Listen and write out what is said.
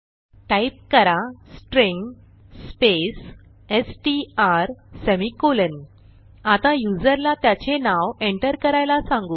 type करा string space STR semicolon आता युजरला त्याचे नाव एंटर करायला सांगू